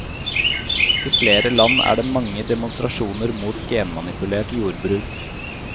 I flere land er det mange demonstrasjoner mot genmanipulert jordbruk.